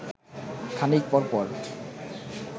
খানিক পর পর